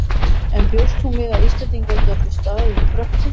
En bjóst hún við að Íslendingar gætu staðið í Frökkum?